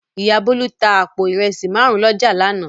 Ìyá Bólú tá àpò ìrẹsì márùn-ún lọ́jà lánàá.